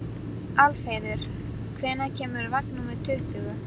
Ekkert vinnst með því að leita á náðir hins liðna.